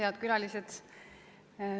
Head külalised!